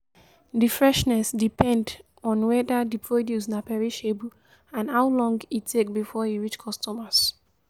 The freshness depend on weda di produce na perishable and how long e take before e reach customers